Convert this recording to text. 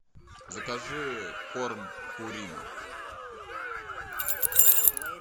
закажи корм пурина